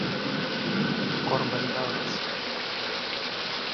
корбен даллас